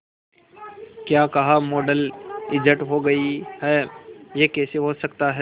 क्या कहा model injured हो गई है यह कैसे हो सकता है